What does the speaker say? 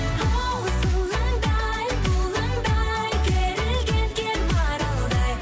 хоу сылаңдай бұлаңдай керілген кер маралдай